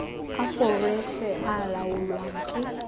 a foreshe e laolwang ke